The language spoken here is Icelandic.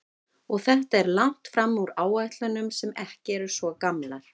Og þetta er langt fram úr áætlunum sem ekki eru svo gamlar?